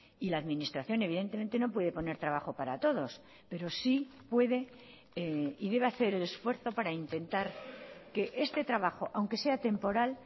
y la administración evidentemente no puede poner trabajo para todos pero sí puede y debe hacer el esfuerzo para intentar que este trabajo aunque sea temporal